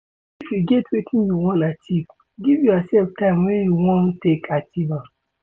If you get wetin you wan achieve, give yourself time wey you wan take achieve am